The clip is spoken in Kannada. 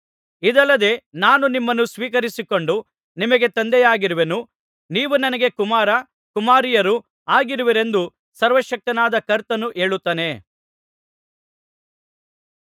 ಇದಲ್ಲದೆ ನಾನು ನಿಮ್ಮನ್ನು ಸ್ವೀಕರಿಸಿಕೊಂಡು ನಿಮಗೆ ತಂದೆಯಾಗಿರುವೆನು ನೀವು ನನಗೆ ಕುಮಾರ ಕುಮಾರಿಯರು ಆಗಿರುವಿರೆಂದು ಸರ್ವಶಕ್ತನಾದ ಕರ್ತನು ಹೇಳುತ್ತಾನೆ